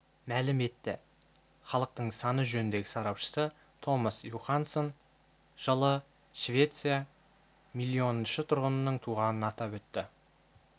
мәлім етті халықтың саны жөніндегі сарапшысы томас юханссон жылы швеция миллионыншы тұрғынның туғанын атап өтті